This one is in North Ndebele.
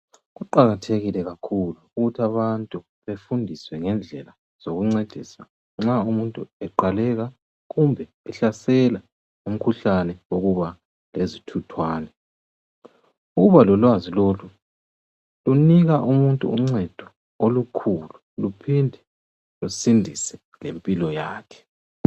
Kuqakathekile kakhulu ukuthi abantu befundiswe ngendlela zokuncedisa nxa umuntu eqaleka kumbe ehlasela ngumkhulane wokuwa lezithuthwane. Ukuba lolwazi lolu lunika umuntu uncedo olukhulu luphinde lusindise lempilo yakhe.